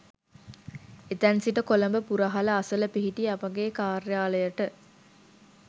එතැන් සිට කොළඹ පුරහල අසල පිහිටි අපගේ කාර්යාලයට